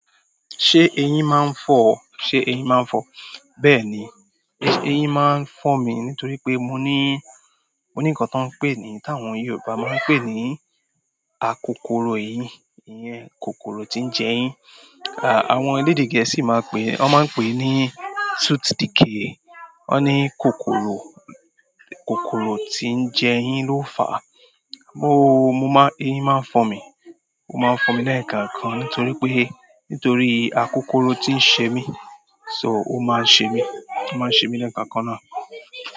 Ṣé eyín máa ń fọ o? Ṣé eyín máa ń fọ? Bẹ́ẹ̀ ni. Eyín máa ń fọ̀ mí nítorí pé mo ní, mo ní nǹkan tó ń pé ni, ta àwọn Yorùbá máa ń pè ní akokoro eyín. Iyén kokoro tí ń jẹ èyín. Àwọn elédè Gẹ̀ẹ́sì máa pè, wọ́n máa ń pè é ní tooth decay. Wọ́n ní kokoro, kokoro tí ń jẹ èyín ló fà. Mo, mo máa, eyín máa ń fọ̀ mí. Ó máa ń fọ̀ mí lẹ́ẹ̀kan kan nítorí pé, ntorí akokoro tí ń ṣe mí. So ó máa ń ṣe mí, ó máa ń ṣe mí lẹ́ẹ̀kan kan náà.